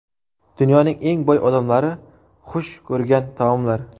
Dunyoning eng boy odamlari xush ko‘rgan taomlar?.